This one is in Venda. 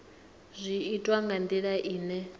zwi itwa nga ndila ine